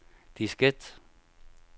diskette